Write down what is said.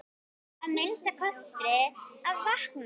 Að minnsta kosti að vakna.